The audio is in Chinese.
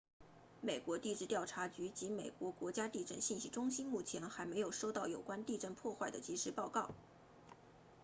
美国地质调查局 usgs 及美国国家地震信息中心目前还没有收到有关地震破坏的即时报告